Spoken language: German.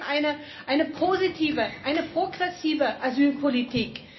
Sie blockieren eine positive, eine progressive Asylpolitik.